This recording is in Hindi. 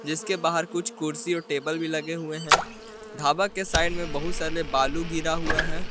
जिसके बाहर कुछ कुर्सी और टेबल भी लगे हुए हैं ढाबा के साइड में बहुत सारे बालू गिरा हुआ है।